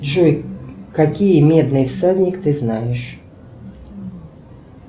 джой какие медные всадник ты знаешь